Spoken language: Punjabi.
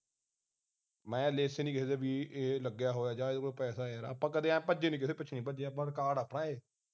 ਮੈਂ ਲਿਖੇ ਨਹੀਂ ਕਦੇ ਵੀ ਬਈ ਇਹ ਲੱਗਿਆ ਹੋਇਆ ਹੈ ਜਾਂ ਇਹਦੇ ਕੋਲ ਪੈਸਾ ਹੈ ਆਪਾਂ ਇਉਂ ਕਦੀ ਭਜੇ ਨਹੀ ਕਿਸੇ ਦੇ ਪਿੱਛੇ ਭੱਜੇ ਨਹੀਂ record ਹੈ ਆਪਣਾ ਇਹ